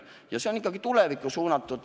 Ja see on ikkagi tulevikku suunatud.